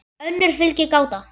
önnur fylgir gáta